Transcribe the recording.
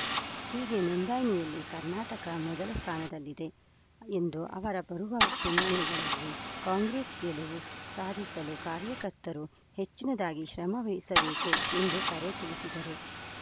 ಹೀಗೆ ನೊಂದಣಿಯಲ್ಲಿ ಕರ್ನಾಟಕ ಮೊದಲ ಸ್ಥಾನದಲ್ಲಿದೆ ಎಂದು ಅವರ ಬರುವ ಚುನಾವಣೆಗಳಲ್ಲಿ ಕಾಂಗ್ರೆಸ್‌ ಗೆಲುವು ಸಾಧಿಸಲು ಕಾರ್ಯಕರ್ತರು ಹೆಚ್ಚಿನದಾಗಿ ಶ್ರಮ ವಹಿಸಬೇಕು ಎಂದು ಕರೆ ತಿಳಿಸಿದರು